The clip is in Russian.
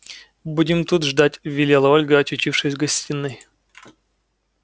будем тут ждать велела ольга очутившись в гостиной